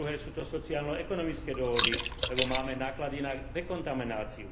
po druhé sú to sociálno ekonomické dôvody, lebo máme náklady na dekontamináciu